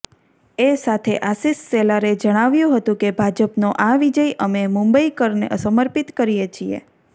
એ સાથે આશિષ શેલારે જણાવ્યું હતું કે ભાજપનો આ વિજય અમે મુંબઈકરને સર્મિપત કરીએ છીએ